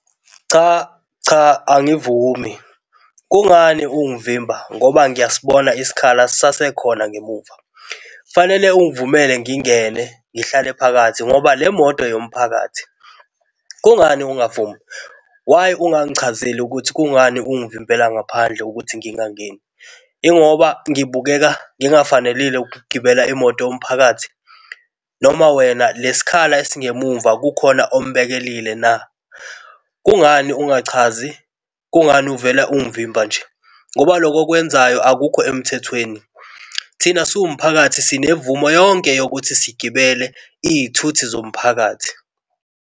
Cha, cha angivumi. Kungani ungivimba ngoba ngiyasibona isikhala sisasekhona ngemumva. Fanele ungivumele ngingene ngihlale phakathi ngoba le moto eyomphakathi. Kungani ungavumi? Why ungangichazeli ukuthi kungani ungavimbela ngaphandle ukuthi ngingangeni? Ingoba ngibukeka ngingafanele ukugibela imoto yomphakathi noma wena le sikhala esingemuva kukhona ombekelile na? Kungani ungachazi, kungani uvele ungangivimba nje? Ngoba loku okwenzayo akukho emthethweni. Thina siwumphakathi sinemvumo yonke yokuthi sigibele izithuthi zomphakathi.